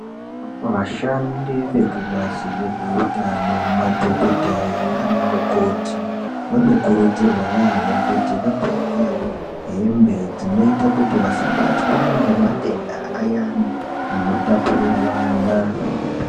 Vashandi vekubazi rezveutano, madhokodheya nanamukoti vanokurudzirwa yaamho kuti vapfeke hembe dzinoita kuti vasabatwa ngematenda ayani ano tapurirwana.